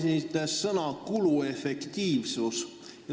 Te kasutasite sõna "kuluefektiivsus".